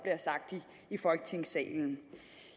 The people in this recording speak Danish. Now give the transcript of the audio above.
i folketingssalen